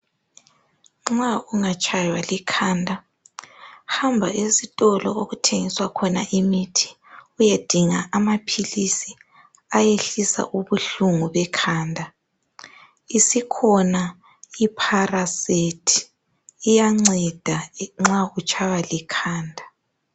Nxa ungatshaywa likhanda hamba esitolo okuthengiswa khona imithi uyedinga amaphilisi ayehlisa ukuhlungu bekhanda. Isikhona ipharasethi iyanceda nxa utshaywa likhanda .